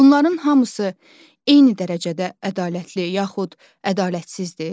Bunların hamısı eyni dərəcədə ədalətli yaxud ədalətsizdir?